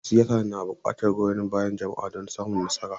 Yan siyasa na bukatar goyon bayan jama'a don samun nasara.